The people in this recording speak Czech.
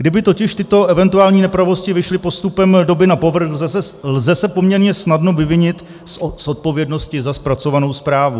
Kdyby totiž tyto eventuální nepravosti vyšly postupem doby na povrch, lze se poměrně snadno vyvinit z odpovědnosti za zpracovanou zprávu.